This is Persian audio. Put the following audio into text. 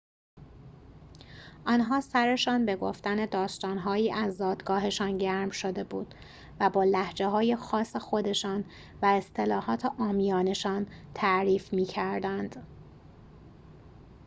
آنها سرشان به گفتن داستان‌هایی از زادگاهشان گرم شده بود و با لهجه‌های خاص خودشان و اصطلاحات عامیانه‌شان تعریف می‌کردند